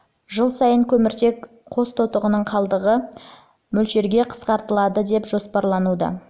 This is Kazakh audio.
жыл сайын көміртек қос тотығының қалдығы дейінгі мөлшерде қысқартылады деп жоспарлануда